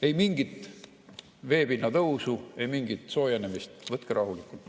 Ei mingit veepinna tõusu, ei mingit soojenemist, võtke rahulikult.